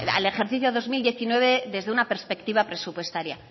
al ejercicio dos mil diecinueve desde una perspectiva presupuestaria